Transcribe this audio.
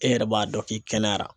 E yɛrɛ b'a dɔn k'i kɛnɛyara.